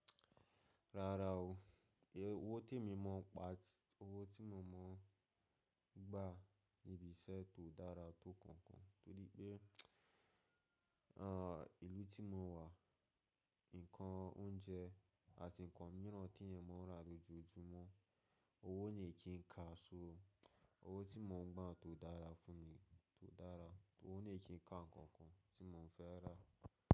Rárá o, owó tí mo mọ̀ gbà níbi iṣẹ́ kó dára tó kankan nitoripe ìlú tí mo wà, ǹkan oúnjẹ àti ǹkan mìíràn tí èèyàn máa ń rà ló ju ojúmọ́. Owó ò ní kí n ka sóo, owó tí mo ń gbà kó dára fún mi kó dára. Owó ò ní kí n ka ǹkankan tí mo ò fẹ́ rà.